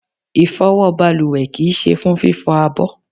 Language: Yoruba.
Ifowo baluwe kii se fún fifo àbọ̀